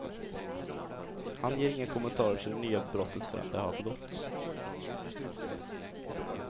Han ger inga kommentarer till det nya brottet förrän det har begåtts.